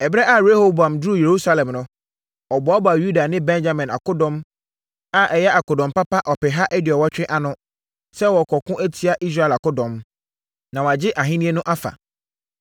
Ɛberɛ a Rehoboam duruu Yerusalem no, ɔboaboaa Yuda ne Benyamin akodɔm a ɛyɛ akodɔm papa ɔpeha aduɔwɔtwe ano, sɛ wɔrekɔko atia Israel akodɔm, na wagye ahennie no afa.